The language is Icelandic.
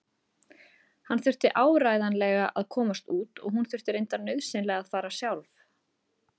Hann þurfti áreiðanlega að komast út og hún þurfti reyndar nauðsynlega að fara sjálf.